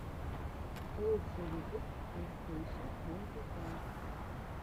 лучший выпуск эн стейша твонти файв